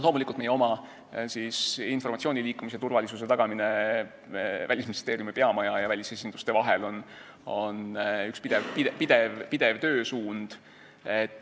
Loomulikult, meie oma informatsiooni Välisministeeriumi peamaja ja välisesinduste vahel liikumise turvalisuse tagamine on üks pidevaid töösuundi.